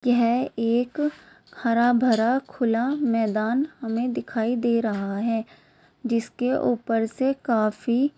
यह एक हरा भरा खुला मैदान हमे दिखाई दे रहा है। जिसके ऊपर से काफी--